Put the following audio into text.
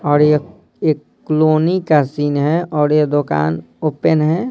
और ये एक क्लोनी का सीन है और ये दुकान ओपन है।